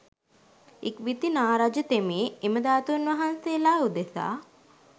ඉක්බිති නාරජ තෙමේ එම ධාතුන් වහන්සේලා උදෙසා